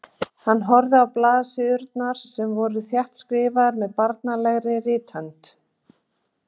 Hann horfði á blaðsíðurnar sem voru þéttskrifaðar með barnslegri rithönd.